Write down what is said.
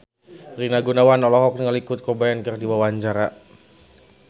Rina Gunawan olohok ningali Kurt Cobain keur diwawancara